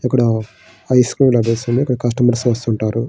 ఇక్కడ ice cream లభిస్తుంది. ఇక్కడ కస్టమర్స్ వస్తూ ఉంటారు.